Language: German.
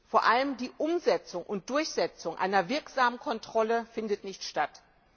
Vor allem die Umsetzung und Durchsetzung einer wirksamen Kontrolle findet nicht statt.